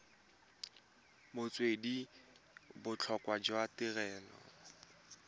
metswedi le botlhokwa jwa tirelo